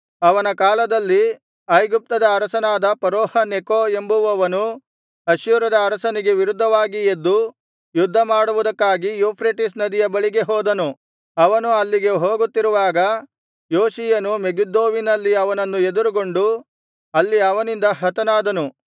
ಅವನ ಕಾಲದಲ್ಲಿ ಐಗುಪ್ತದ ಅರಸನಾದ ಫರೋಹ ನೆಕೋ ಎಂಬುವವನು ಅಶ್ಶೂರದ ಅರಸನಿಗೆ ವಿರುದ್ಧವಾಗಿ ಎದ್ದು ಯುದ್ಧಮಾಡುವುದಕ್ಕಾಗಿ ಯೂಫ್ರೆಟಿಸ್ ನದಿಯ ಬಳಿಗೆ ಹೋದನು ಅವನು ಅಲ್ಲಿಗೆ ಹೋಗುತ್ತಿರುವಾಗ ಯೋಷೀಯನು ಮೆಗಿದ್ದೋವಿನಲ್ಲಿ ಅವನನ್ನು ಎದುರುಗೊಂಡು ಅಲ್ಲಿ ಅವನಿಂದ ಹತನಾದನು